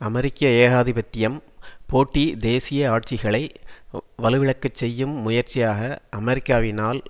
அமெரிக்க ஏகாதிபத்தியம் போட்டி தேசிய ஆட்சிகளை வலுவிழக்க செய்யும் முயற்சியாக அமெரிக்காவினால்